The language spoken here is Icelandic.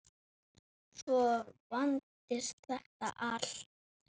Svo vandist þetta allt.